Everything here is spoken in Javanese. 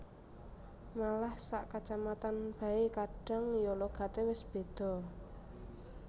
Malah sak kacamatan bae kadang ya logate wis beda